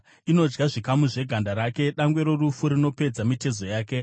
Inodya zvikamu zveganda rake; dangwe rorufu rinopedza mitezo yake.